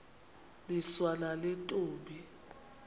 niswa nale ntombi